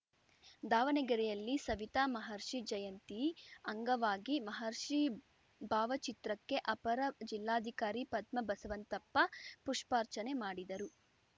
ದಾವಣಗೆರೆಯಲ್ಲಿ ಸವಿತಾ ಮಹರ್ಷಿ ಜಯಂತಿ ಅಂಗವಾಗಿ ಮಹರ್ಷಿ ಭಾವಚಿತ್ರಕ್ಕೆ ಅಪರ ಜಿಲ್ಲಾಧಿಕಾರಿ ಪದ್ಮಾ ಬಸವಂತಪ್ಪ ಪುಷ್ಪಾರ್ಚನೆ ಮಾಡಿದರು